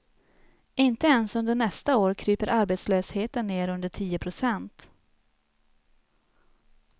Inte ens under nästa år kryper arbetslösheten ner under tio procent.